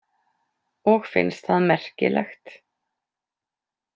Og finnst það merkilegt.